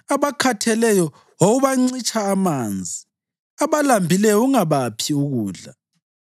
Abakhatheleyo wawubancitsha amanzi, abalambileyo ungabaphi ukudla,